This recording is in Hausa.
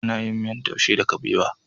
Ana yin miyar taushe da kabewa.